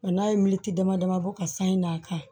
Nka n'a ye militi dama dama bɔ ka san in d'a kan